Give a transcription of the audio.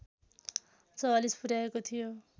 ४४ पुर्‍याएको थियो